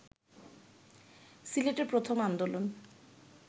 সিলেটে প্রথম আন্দোলন